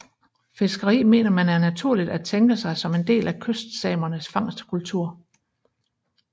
Fiskeri mener man er naturligt at tænke sig som en del af kystsamernes fangstkultur